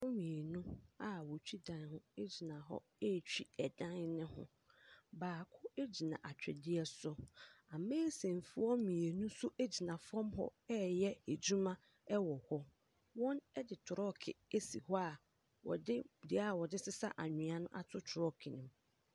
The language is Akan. Nkurofoɔ mmienu a wotwi dan ho egyina hɔ etwi ɛdan ne ho. Baako egyina atwedeɛ so. Amesin foɔ mmienu nso egyina fam hɔ ɛyɛ adwuma ɛwɔ hɔ. Wɔn ɛde trɔk esi hɔ a wɔde dua a wɔde sesa anwia no ato trɔk no mu.